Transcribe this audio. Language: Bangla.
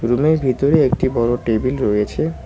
রুম -এর ভিতরে একটি বড় টেবিল রয়েছে।